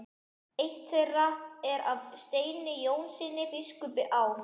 Eitt þeirra er af Steini Jónssyni biskupi á